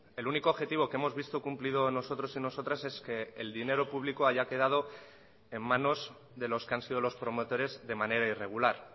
el único objetivo que hemos visto cumplido nosotros y nosotras es que el dinero público haya quedado en manos de los que han sido los promotores de manera irregular